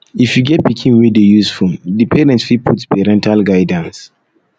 if you get pikin wey dey use phone di parent fit put parental guidance